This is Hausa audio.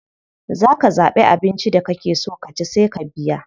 Za ka zaɓi abinci da kake so ka ci sai ka biya.